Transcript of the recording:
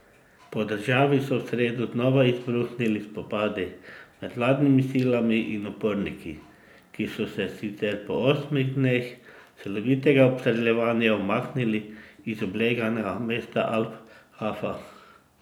Po državi so v sredo znova izbruhnili spopadi med vladnimi silami in uporniki, ki so se sicer po osmih dneh silovitega obstreljevanja umaknili iz obleganega mesta Al Hafa.